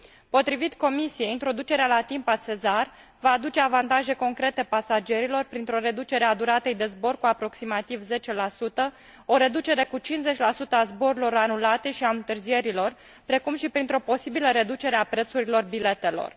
Potrivit Comisiei, introducerea la timp a SESAR va aduce avantaje concrete pasagerilor printr o reducere a duratei de zbor cu aproximativ 10 o reducere cu 50 a zborurilor anulate și a întârzierilor, precum și printr o posibilă reducere a prețurilor biletelor.